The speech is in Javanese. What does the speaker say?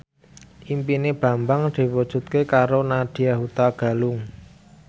impine Bambang diwujudke karo Nadya Hutagalung